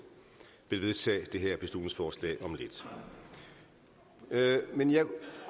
vil vedtage det her beslutningsforslag om lidt men jeg